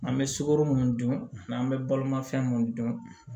An bɛ sukoro mun dun n'an bɛ baloma fɛn mun dun